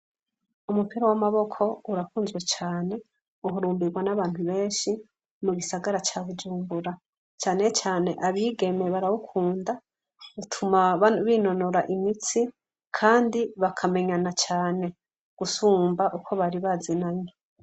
Umupira w'amaboko urakunzwe cane. Uhurumbigwa n'abantu benshi mugisagara ca Bujumbura. Cane cane abigeme barawukunda , bituma binonora imitsi kandi bakamenyana cane gusumba uko bari bazinanyi.